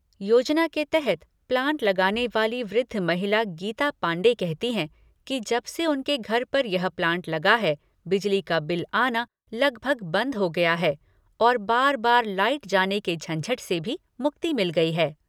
योजना के तहत प्लांट लगाने वाली वृद्ध महिला, गीता पांडे कहती हैं कि जब से उनके घर पर यह प्लांट लगा है, बिजली का बिल आना लगभग बंद हो गया है और बार बार लाइट जाने के झंझट से भी मुक्ति मिल गई है।